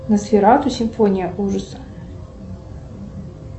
носферату симфония ужаса